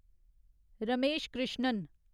Ramesh Krishnan